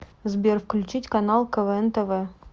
сбер включить канал квн тв